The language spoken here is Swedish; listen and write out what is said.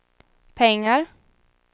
pengar